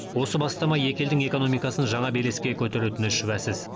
осы бастама екі елдің экономикасын жаңа белеске көтеретіні шүбәсіз